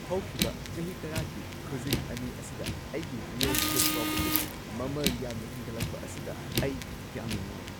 ꯍꯧꯈꯤꯕ ꯆꯍꯤ ꯇꯔꯥꯒꯤ ꯈꯨꯖꯤꯡ ꯲ ꯑꯁꯤꯗ ꯑꯩꯒꯤ ꯔꯤꯑꯦꯜ ꯢꯁꯇꯦꯠ ꯄ꯭ꯔꯣꯄꯔꯇꯤꯒꯤ ꯃꯃꯜ ꯌꯥꯝꯅ ꯍꯦꯟꯒꯠꯂꯛꯄ ꯑꯁꯤꯗ ꯑꯩ ꯌꯥꯝꯅ ꯅꯨꯡꯉꯥꯏ꯫